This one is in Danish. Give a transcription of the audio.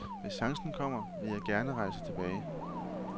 Hvis chancen kommer, vil jeg gerne rejse tilbage.